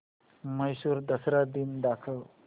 म्हैसूर दसरा दिन दाखव